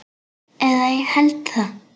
Eða ég held það.